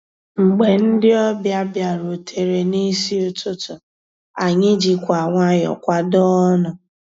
Mgbé ndị́ ọ̀bịá bìàrùtérè n'ísí ụtụtụ́, ànyị́ jìkwà nwayọ́ọ̀ kwàdóó ọnụ́.